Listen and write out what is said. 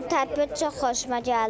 Tədbir çox xoşuma gəldi.